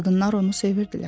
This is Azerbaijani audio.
Qadınlar onu sevirdilər.